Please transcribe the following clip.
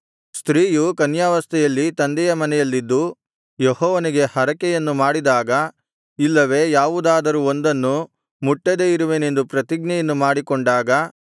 ಸ್ತ್ರೀಯು ಕನ್ಯಾವಸ್ಥೆಯಲ್ಲಿ ತಂದೆಯ ಮನೆಯಲ್ಲಿದ್ದು ಯೆಹೋವನಿಗೆ ಹರಕೆಯನ್ನು ಮಾಡಿದಾಗ ಇಲ್ಲವೆ ಯಾವುದಾದರೂ ಒಂದನ್ನು ಮುಟ್ಟದೆ ಇರುವೆನೆಂದು ಪ್ರತಿಜ್ಞೆಯನ್ನು ಮಾಡಿಕೊಂಡಾಗ